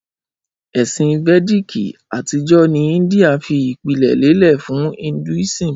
Ẹsin Vediki atijọ ni India fi ipilẹ lelẹ fun Hinduism.